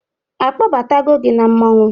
A kpọbatago gị n'otu mmọnwụ?